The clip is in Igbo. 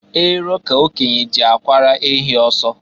Ero ka okenye ji akwara ehi ọsọ.